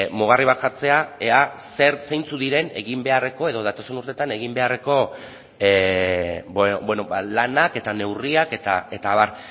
mugarri bat jartzea ea zeintzuk diren egin beharreko edo datozen urteetan egin beharreko lanak eta neurriak eta abar